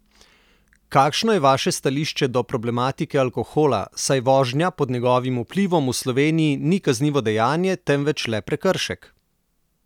Kakšno je vaše stališče do problematike alkohola, saj vožnja pod njegovim vplivom v Sloveniji ni kaznivo dejanje, temveč le prekršek?